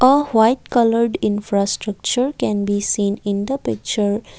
a white coloured infrastructure can be seen in the picture.